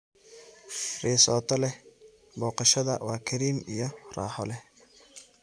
Risotto leh boqoshaada waa kareem iyo raaxo leh.